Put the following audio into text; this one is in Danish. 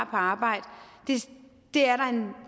på arbejde er